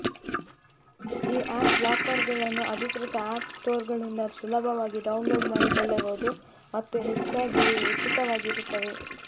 ಈ ಆ್ಯಪ್ ಲಾಕರ್ಗಳನ್ನು ಅಧಿಕೃತ ಆ್ಯಪ್ ಸ್ಟೋರ್ಗಳಿಂದ ಸುಲಭವಾಗಿ ಡೌನ್ಲೋಡ್ ಮಾಡಿಕೊಳ್ಳಬಹುದು ಮತ್ತು ಹೆಚ್ಚಾಗಿ ಇವು ಉಚಿತವಾಗಿರುತ್ತವೆ